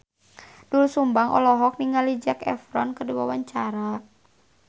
Doel Sumbang olohok ningali Zac Efron keur diwawancara